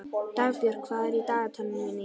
Dagbjörg, hvað er í dagatalinu mínu í dag?